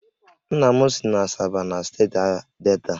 Nna m si Asaba na steeti Delta